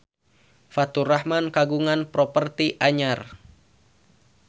Faturrahman kagungan properti anyar